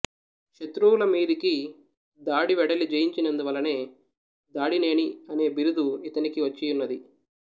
శత్రువుల మీదికి దాడివెడలి జయించినందువల్లనే దాడినేని అనే బిరుదు ఇతనికి వచ్చియున్నది